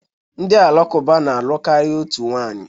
Ndị Alakụba na-alụ karịa otu nwanyị